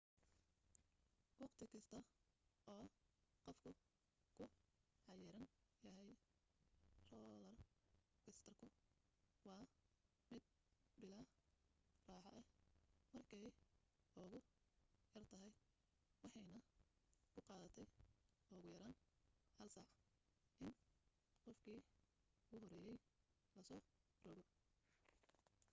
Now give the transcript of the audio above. waqti kasta oo qofku ku xayiran yahay roolar koostarku waa mid bilaa raaxo ah markay ugu yartahay waxaanay ku qaadatay ugu yaraan hal saac in qofkii u horeeyay la soo rogo